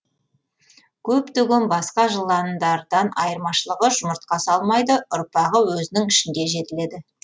көптеген басқа жыландардан айырмашылығы жұмыртқа салмайды ұрпағы өзінің ішінде жетіледі